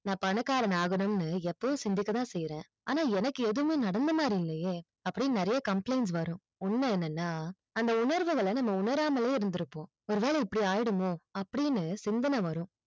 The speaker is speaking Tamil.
நா பணக்காரனை ஆகணும் எப்பவும் சிந்திக்க தான் செய்யறன் ஆன என்னக்கு எதுவுமே நடந்த மாறி இல்லையே அப்படி நிறையா complaints வரும் உண்மை என்னனா அந்த உணர்வுகள நம்ம உணராமலே இருந்து இருப்போம் ஒரு வேலை இப்படி ஆயிடுமோ அப்படினு சிந்தனை வரும்